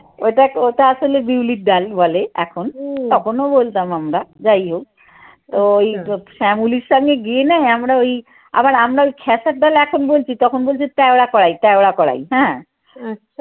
ওটা ওটা আসলে বিউলির ডাল বলে এখন। তখনও বলতাম আমরা যাই হোক তো ওই ফ্যামিলির সঙ্গে গিয়ে নয় আমরা ওই আবার আমরা ওই খেসার ডাল এখন বলছি তখন বলছে তেওড়া করাই তেওড়া করাই হ্যাঁ।